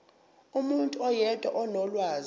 umuntu oyedwa onolwazi